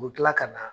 U bɛ tila ka na